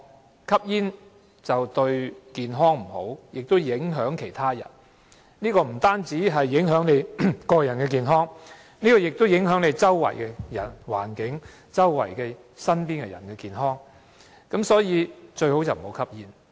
由於吸煙對健康有壞影響，不僅影響個人健康，也會影響周圍環境和吸煙者身邊人的健康，所以最好不要吸煙。